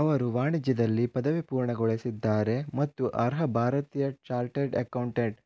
ಅವರು ವಾಣಿಜ್ಯದಲ್ಲಿ ಪದವಿ ಪೂರ್ಣಗೊಳಿಸಿದ್ದಾರೆ ಮತ್ತು ಅರ್ಹ ಭಾರತೀಯ ಚಾರ್ಟೆಡ್ ಎಕೌಂಟೆಂಟ್